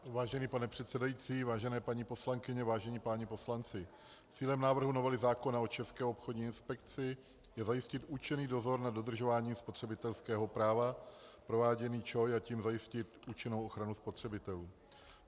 Vážený pane předsedající, vážené paní poslankyně, vážení páni poslanci, cílem návrhu novely zákona o České obchodní inspekci je zajistit účinný dozor nad dodržováním spotřebitelského práva prováděný ČOI, a tím zajistit účinnou ochranu spotřebitelů.